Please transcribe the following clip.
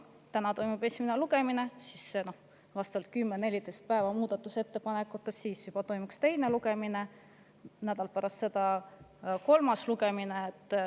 Täna toimub esimene lugemine, 10–14 päeva on muudatusettepanekute esitamiseks, siis toimuks teine lugemine ja nädal pärast seda kolmas lugemine.